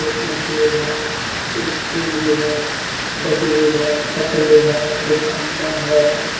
एक मशीन है एक सीढ़ी है बजरी है तसली है एक खम्मा है।